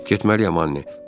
Getməliyəm Anne.